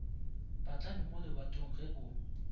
patlame mo lebatong ge o